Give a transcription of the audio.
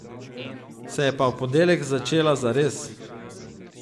Se je pa v ponedeljek začela zares.